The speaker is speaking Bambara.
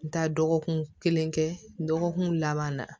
Taa dɔgɔkun kelen kɛ dɔgɔkun laban na